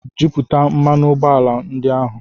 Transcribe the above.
Jupụta mmanụ ụgbọala ndị ahụ